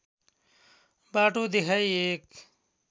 बाटो देखाई एक